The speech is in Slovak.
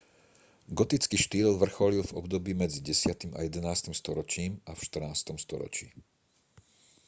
gotický štýl vrcholil v období medzi 10. a 11. storočím a v 14. storočí